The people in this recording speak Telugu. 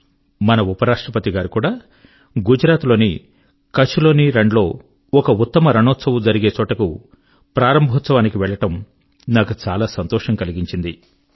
మరి మన ఉప రాష్ట్రపతి గారు కూడా గుజరాత్ లోని కచ్ లోని రణ్ లో ఒక ఉత్తమ రణోత్సవ్ జరిగే చోటకు ప్రారంభోత్సవాని కి వెళ్ళడం నాకు సంతోషం కలిగించింది